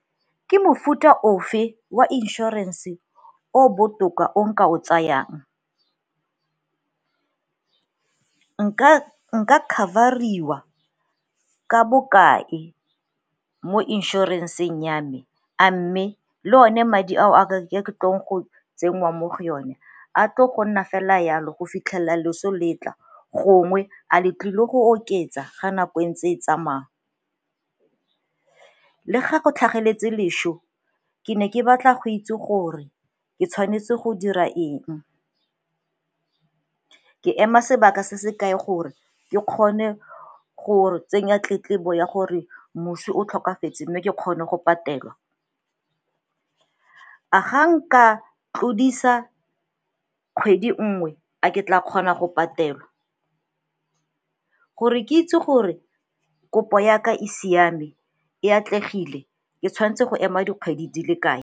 Ke mofuta ofe wa inšorense o o botoka o nka o tsayang. Nka cover-riwa ka bokae mo inšorenseng ya me? A mme le one madi ao a ke tlong go tsenngwa mo go yone a tlo go nna fela yalo go fitlhelela loso letla, gongwe a le tlile go oketsa ga nako e ntse e tsamaya? Le ga go tlhageletse lešo ke ne ke batla go itse gore ke tshwanetse go dira eng, ke ema sebaka se se kae gore ke kgone go tsenya tletlebo gore moswi o tlhokafetse mme ke kgone go patelwa? A ga nka tlodisa kgwedi nngwe a ke tla kgona go patelwa? Gore ke itse gore kopo ya ka e siame e atlegile, ke tshwanetse go ema dikgwedi di le kae?